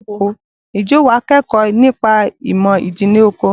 Ǹjẹ́ wà á kẹ́kọ̀ọ́ nípa ìmọ̀ ìjìnlẹ̀ oko?